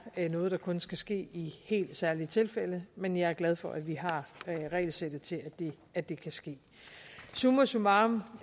noget der kun skal ske i helt særlige tilfælde men jeg er glad for at vi har regelsættet til at det kan ske summa summarum